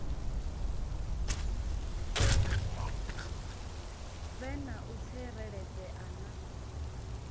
vhe na u tsireledzea na